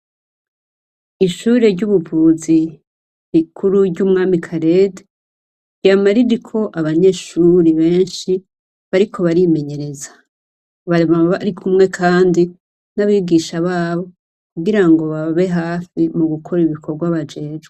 Ishuri ry'ubuvuzi bikuru ry'umwami karede yamaririko abanyeshuri benshi bariko barimenyereza bama bari kumwe, kandi n'abigisha babo kugira ngo bababe hafi mu gukora ibikorwa bajezwe.